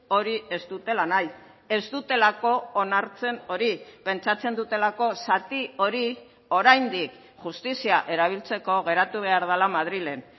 hori ez dutela nahi ez dutelako onartzen hori pentsatzen dutelako zati hori oraindik justizia erabiltzeko geratu behar dela madrilen